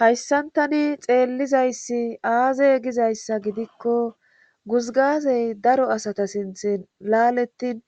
Hayssantani xeellizayssi aaze gizayssa gidikko guzgazey daro asata sinthi laalettin